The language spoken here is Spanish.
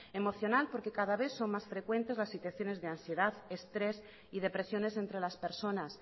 emocional porque cada vez son más frecuentes las situaciones de ansiedad estrés y depresiones entre las personas